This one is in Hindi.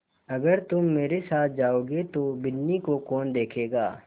अगर तुम मेरे साथ जाओगे तो बिन्नी को कौन देखेगा